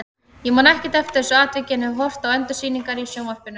Ég man ekkert eftir þessu atviki en hef horft á endursýningar í sjónvarpinu.